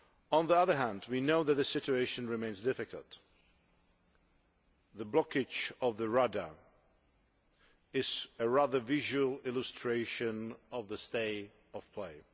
On the other hand, we note that the situation remains difficult. The blockage of the Rada is a rather graphic illustration of the stay of play.